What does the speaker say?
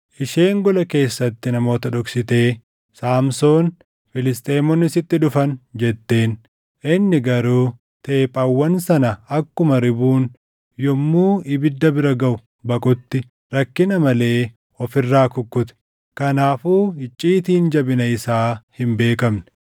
Isheen gola keessatti namoota dhoksitee, “Saamsoon, Filisxeemonni sitti dhufan!” jetteen. Inni garuu teephawwan sana akkuma ribuun yommuu ibidda bira gaʼu baqutti rakkina malee of irraa kukkute. Kanaafuu icciitiin jabina isaa hin beekamne.